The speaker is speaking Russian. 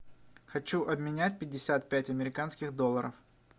хочу обменять пятьдесят пять американских долларов